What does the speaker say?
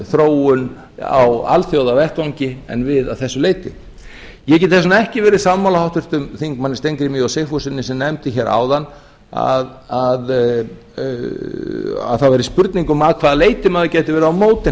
þróun á alþjóðavettvangi að þessu leyti ég get þess vegna ekki verið sammála háttvirtum þingmönnum steingrími j sigfússyni sem nefndi hér áðan að það væri spurning um að hvaða leyti maður geti verið á móti